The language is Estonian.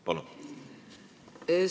Palun!